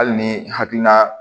Hali ni hakilina